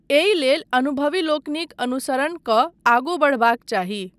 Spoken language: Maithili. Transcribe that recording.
एहि लेल अनुभवी लोकनिक अनुसरण कऽ आगू बढ़बाक चाही।